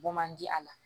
Bɔ man di a la